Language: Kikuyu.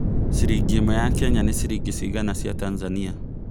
ciringi ĩmwe ya Kenya ni ciringi cĩgana cĩa Tanzania